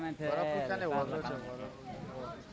બરફ છે ને horror